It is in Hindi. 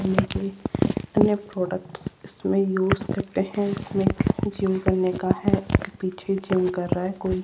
प्रोडक्टस इसमें यूज करते हैं इसमें जिम करने का है एक पीछे जिम कर रहा है कोई।